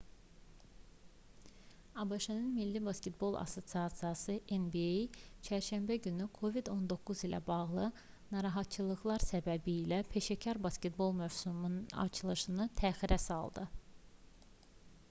abş-ın milli basketbol assosiasiyası nba çərşənbə günü covid-19 ilə bağlı narahatçılıqlar səbəbilə peşəkar basketbol mövsümünün açılışını təxirə saldı